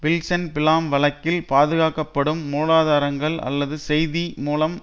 வில்சன்பிளாம் வழக்கில் பாதுகாக்கப்படும் மூலாதாரங்கள் அல்லது செய்தி மூலம்